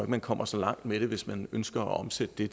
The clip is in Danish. man kommer så langt med det hvis man ønsker at omsætte det